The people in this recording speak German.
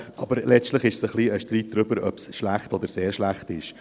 Aber letztlich ist es ein Streit darüber, ob es schlecht oder sehr schlecht ist.